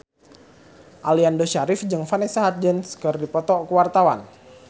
Aliando Syarif jeung Vanessa Hudgens keur dipoto ku wartawan